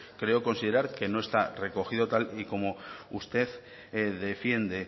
creo considerar que no está recogido tal y como usted defiende